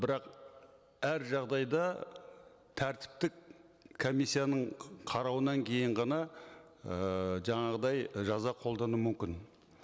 бірақ әр жағдайда тәртіптік комиссияның қарауынан кейін ғана ыыы жаңағыдай ы жаза қолдану мүмкін